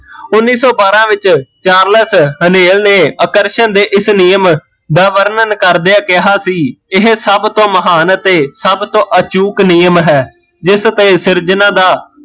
ਉਨੀ ਸੋ ਬਾਰਾਂ ਵਿੱਚ ਚਾਰਲਸ ਹਨੇਲ ਨੇ ਆਕਰਸ਼ਣ ਦੇ ਇਸ ਨਿਯਮ ਦਾ ਵਿਵਰਣ ਕਰਦੇ ਕਿਹਾ ਸੀ ਇਹ ਸਭ ਤੋਂ ਮਹਾਨ ਅਤੇ ਸਭ ਤੋਂ ਅਚੂਕ ਨਿਯਮ ਹੈ ਜਿਸ ਤੇ ਸਿਰਜਣਾ ਦਾ